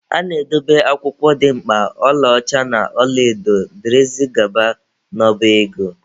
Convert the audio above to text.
A na-edobe akwụkwọ dị mkpa, ọla ọcha na ọla edo dgz n'ọba ego.